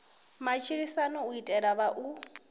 matshilisano u itela u vha